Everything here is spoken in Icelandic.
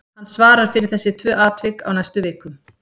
Hann svarar fyrir þessi tvö atvik á næstu vikum.